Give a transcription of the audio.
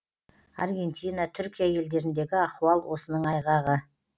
аргентина түркия елдеріндегі ахуал осының айғағы